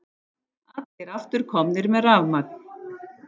Allir aftur komnir með rafmagn